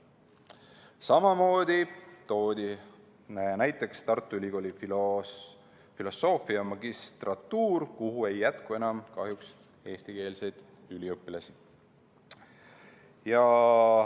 Samamoodi toodi näiteks Tartu Ülikooli filosoofia magistrantuur, kuhu ei jätku enam kahjuks eestikeelseid üliõpilasi.